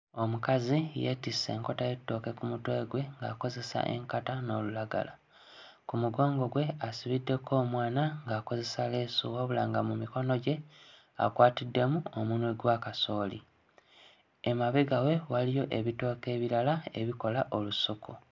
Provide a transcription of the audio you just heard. Omukazi yeetisse enkota y'ettooke ku mutwe gwe ng'akozesa enkata n'olulagala. Ku mugongo gwe asibiddeko omwana ng'akozesa leesu wabula nga mu mikono gye akwatiddemu omunwe gwa kasooli. Emabega we waliyo ebitooke ebirala ebikola olusuku.